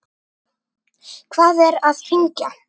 Hvað er að hrynja?